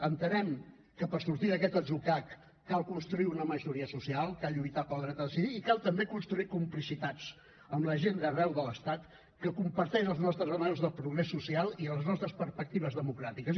entenem que per sortir d’aquest atzucac cal construir una majoria social cal lluitar pel dret a decidir i cal també construir complicitats amb la gent d’arreu de l’estat que comparteix els nostres anhels de progrés social i les nostres perspectives democràtiques